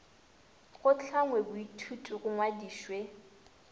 go hlangwe boithuti bo ngwadišwe